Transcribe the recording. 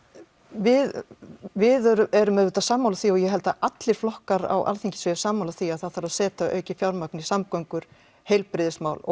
við við erum auðvitað sammála því og ég held að allir flokkar á Alþingi séu sammála því að það þarf að setja aukið fjármagn í samgöngur heilbrigðismál og